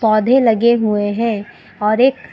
पौधे लगे हुए हैं और एक --